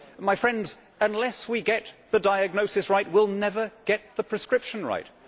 My friends, unless we get the diagnosis right, we will never get the prescription right.